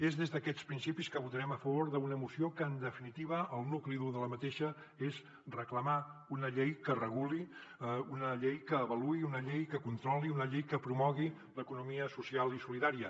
és des d’aquests principis que votarem a favor d’una moció que en definitiva el nucli dur de la mateixa és reclamar una llei que reguli una llei que avaluï una llei que controli una llei que promogui l’economia social i solidària